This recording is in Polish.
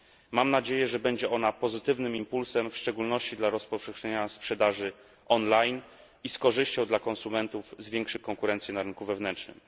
Mam nadzieję, że będzie ona pozytywnym impulsem w szczególności dla rozpowszechnienia sprzedaży online i z korzyścią dla konsumentów zwiększy konkurencję dla konsumentów na rynku wewnętrznym.